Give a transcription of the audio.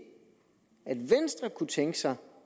at venstre kunne tænke sig